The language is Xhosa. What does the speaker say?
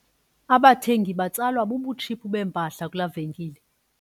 Abathengi batsalwa bubutshiphu bempahla kulaa venkile.